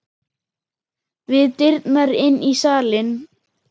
Við dyrnar inn í salinn.